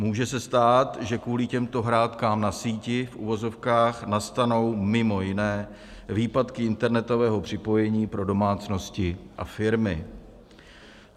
Může se stát, že kvůli těmto hrátkám na síti v uvozovkách nastanou mimo jiné výpadky internetového připojení pro domácnosti a firmy.